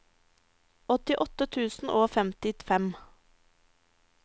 åttiåtte tusen og femtifem